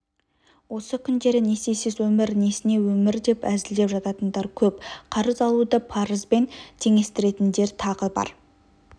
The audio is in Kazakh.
осы күндері несиесіз өмір несіне өмір деп әзілдеп жататындар көп қарыз алуды парызбен теңестіретіндер тағы бар